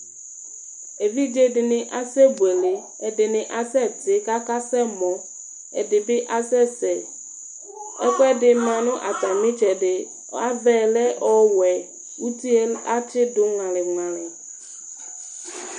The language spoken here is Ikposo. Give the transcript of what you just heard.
evidze dɩnɩ asɛbuele, ɛdɩnɩ asɛtɩ kakasɛ mɔ, ɛdɩbɩ, asɛ sɛ, ɛkuɛdi ma nʊ atamitsɛdɩ, ava yɛ lɛ owɛ, uti yɛ atsidʊ ŋualiŋuali